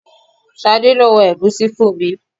Ṣadé lo wọn ẹ̀gúsí fún mi.